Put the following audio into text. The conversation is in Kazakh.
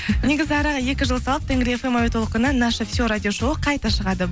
негізі араға екі жыл салып тенгри фм әуе толқынынан наша все радио шоуы қайта шығады